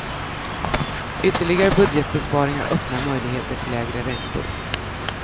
Ytterligare budgetbesparingar öppnar möjligheter till lägre räntor.